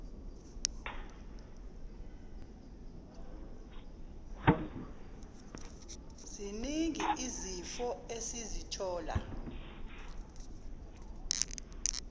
ziningi izifo esizithola